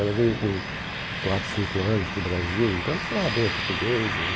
Ela veio com quatro, cinco anos para o Brasil, então ela falava bem o português hum.